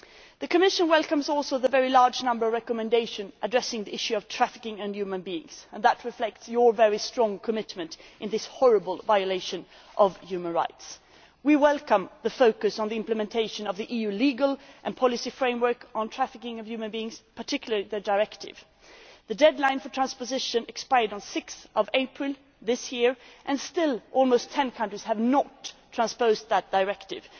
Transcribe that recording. The Commission also welcomes the very large number of recommendations addressing the issue of trafficking in human beings, and that reflects Parliament's very strong commitment as regards this horrible violation of human rights. We welcome the focus on the implementation of the EU legal and policy framework on trafficking in human beings, and particularly the directive. The deadline for transposition expired on 6 April 2013, and still almost ten countries have not transposed that directive.